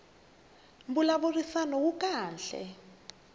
mbulavurisano wu kahle